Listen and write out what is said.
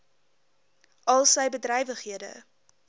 al sy bedrywighede